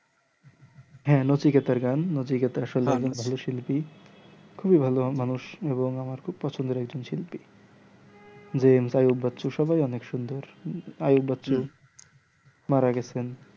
হ্যাঁ নচিকেতা আর গান নচিকেতা আসোলে ভালো শিল্পী খুবই ভালো মানুষ এবং আমার খুব পছন্দের একজন শিল্পী আইয়ুব বাচ্চু সবাই অনেক সুন্দর আইয়ুব বাচ্চু মারা গেছেন